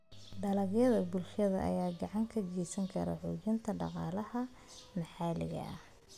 Dalagyada bulshada ayaa gacan ka geysan kara xoojinta dhaqaalaha maxalliga ah.